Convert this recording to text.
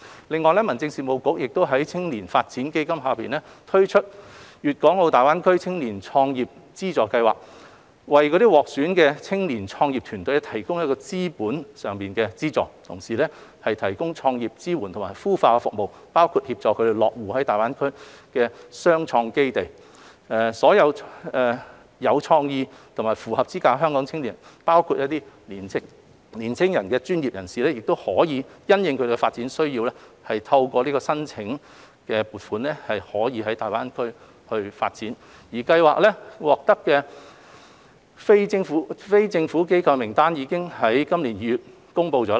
另外，民政事務局已在青年發展基金下推出粵港澳大灣區青年創業資助計劃，為獲選的青年創業團隊提供資本資助，同時提供創業支援及孵化服務，包括協助他們落戶位於大灣區的雙創基地。所有有意創業而符合資格的香港青年，包括青年專業人士，均可因應他們的發展需要透過申請資助在大灣區內發展。計劃的獲資助非政府機構名單已於今年2月公布。